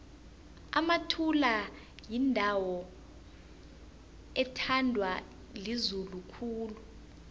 emathula yindawo ethandwa lizulu khulu